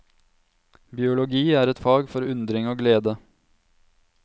Biologi er et fag for undring og glede.